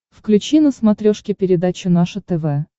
включи на смотрешке передачу наше тв